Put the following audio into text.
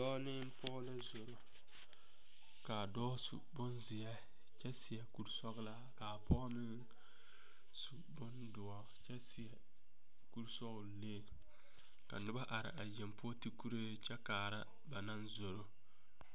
Dɔɔ ne pɔge la zoro ka a dɔɔ su bonzeɛ kyɛ seɛ kuri sɔglaa ka a pɔge meŋ su bondoɔ kyɛ seɛ kurisɔglee ka noba are yeŋ poɔ a ti kuree kyɛ kaara ba naŋ zoro.